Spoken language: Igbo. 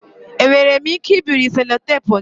Enwere m ike ibiri sellotape gị?